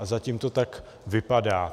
A zatím to tak vypadá.